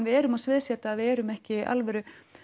við erum að sviðsetja og við erum ekki alvöru